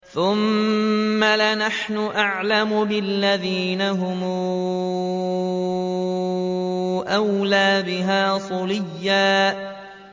ثُمَّ لَنَحْنُ أَعْلَمُ بِالَّذِينَ هُمْ أَوْلَىٰ بِهَا صِلِيًّا